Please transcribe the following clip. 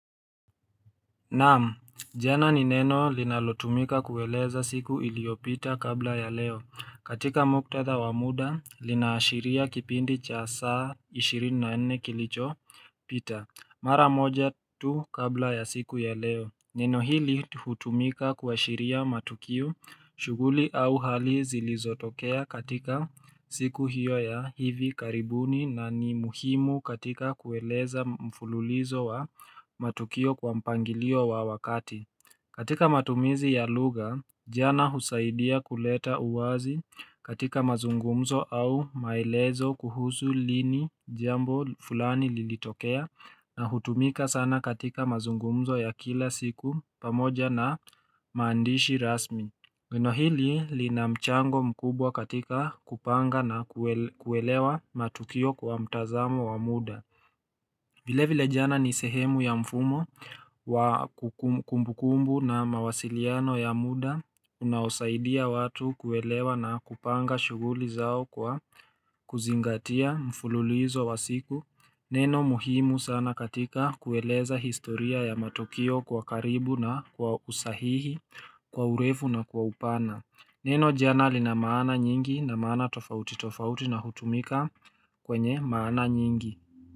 Naam, jana ni neno linalotumika kueleza siku iliyopita kabla ya leo. Katika muktatha wa muda, linaashiria kipindi cha saa ishirini na nne kilicho pita. Mara moja tu kabla ya siku ya leo. Neno hili hutumika kuashiria matukio shuguli au hali zilizotokea katika siku hiyo ya hivi karibuni na ni muhimu katika kueleza mfululizo wa matukio kwa mpangilio wa wakati katika matumizi ya lugha, jana husaidia kuleta uwazi katika mazungumzo au maelezo kuhusu lini jambo fulani lilitokea na hutumika sana katika mazungumzo ya kila siku pamoja na maandishi rasmi. Neno hili lina mchango mkubwa katika kupanga na kuelewa matukio kwa mtazamo wa muda. Vile vile jana ni sehemu ya mfumo wa kumbukumbu na mawasiliano ya muda Unaosaidia watu kuelewa na kupanga shughuli zao kwa kuzingatia mfululizo wa siku Neno muhimu sana katika kueleza historia ya matokio kwa karibu na kwa usahihi kwa urefu na kwa upana Neno jana lina maana nyingi na maana tofauti tofauti na hutumika kwenye maana nyingi.